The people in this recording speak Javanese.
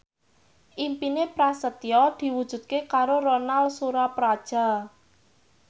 impine Prasetyo diwujudke karo Ronal Surapradja